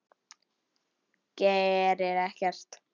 Gerir ekkert.